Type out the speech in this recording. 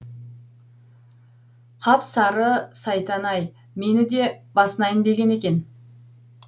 қап сары сайтан ай мені де басынайын деген екен